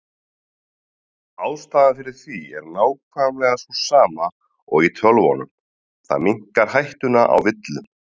Ástæðan fyrir því er nákvæmlega sú sama og í tölvunum, það minnkar hættuna á villum.